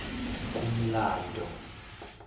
kumlando